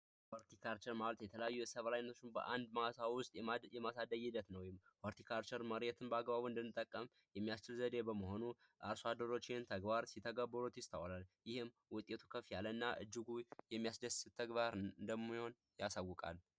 ሆልቲ ካልቸር ማለት የተለያዩ ሰብል አይነቶችን በአንድ ማሳ ውስጥ ማሳደግ ሂደት ነው። ሆልቲ ካልቸር መሬትን በአግባቡ እንድንጠቀም የሚያስችል ዘዴ በመሆኑ የሚያሆኑ አደሮችህን ተግባር ሲተገብሩት ይስተዋላሉ። ይህም ውጤቱ ከፍ ያለ እና እጅጉ የሚያስደስት ተግባር እንደሚሆን ያሳውቃል።